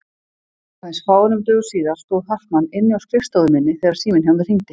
Aðeins fáeinum dögum síðar stóð Hartmann inni á skrifstofu minni þegar síminn hjá mér hringdi.